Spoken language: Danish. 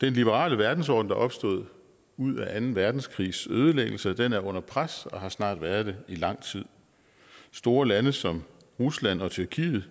den liberale verdensorden der er opstået ud af anden verdenskrigs ødelæggelse er under pres og har snart været det i lang tid store lande som rusland og tyrkiet